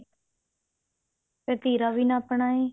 ਤੀਰਾ ਵੀ ਨਾਪਨਾ ਹੈ